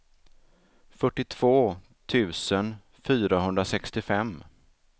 fyrtiotvå tusen fyrahundrasextiofem